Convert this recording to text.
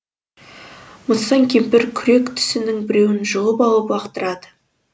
мыстан кемпір күрек тісінің біреуін жұлып алып лақтырады